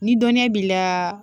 Ni dɔnniya b'i la